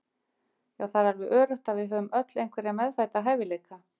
Já það er alveg öruggt að við höfum öll einhverja meðfædda hæfileika.